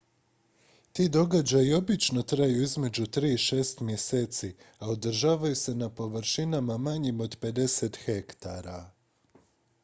ti događaji obično traju između tri i šest mjeseci a održavaju se na površinama manjim od 50 hektara